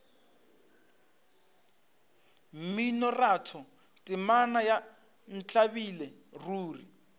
mminoratho temana ya ntlabile ruri